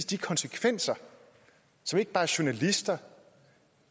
de konsekvenser som ikke bare journalister